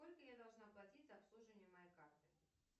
сколько я должна платить за обслуживание моей карты